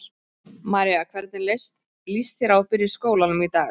María: Hvernig líst þér á að byrja í skólanum í dag?